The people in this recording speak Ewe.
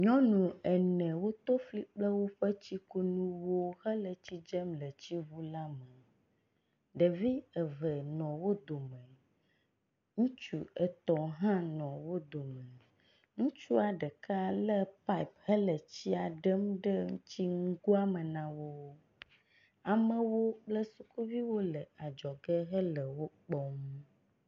Nyɔnu ene woto fli kple woƒe tsikunuwo hele tsi dzem le tsiŋu la me. Ɖevi eve nɔ wo dome. Ŋutsu etɔ̃ hã nɔ wo dome. Ŋutsua ɖeka lé pipe hele tsia dem ɖe tsinugoa me na wo. Amewo kple sukuviwo le adzɔge le wokpɔm.